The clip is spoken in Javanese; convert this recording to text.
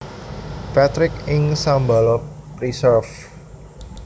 Patrick ing Shambala Preserve